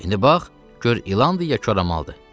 İndi bax, gör ilandır, ya koramaldır.